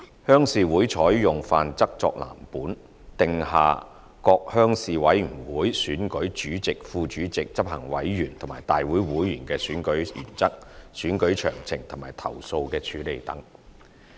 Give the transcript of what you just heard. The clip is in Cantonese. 鄉事會採用《範則》作藍本，訂下各鄉事會選舉主席、副主席、執行委員及大會會員的選舉原則、選舉詳情及投訴的處理等。